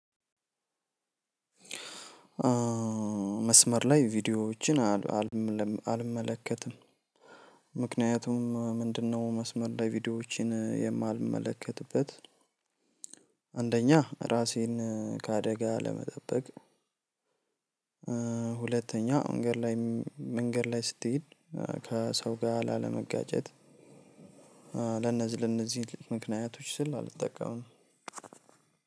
መስመር ላይ ቪዲዮዎችን አልመለከትም። ምክንያቱም ምንድነው? መስመር ላይ ቪዲዮዎችን የማልመለከትበት አንደኛ ራሴን ከአደጋ ለመጠበቅ። ሁለተኛ መንገድ ላይ መንገድ ላይ ስትሄድ ከሰው ጋር ላለመጋጨት። ለነዚህ ምክንያቶች ስል አልጠቀምም።